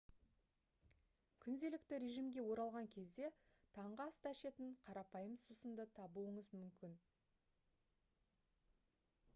күнделікті режимге оралған кезде таңғы аста ішетін қарапайым сусынды табуыңыз мүмкін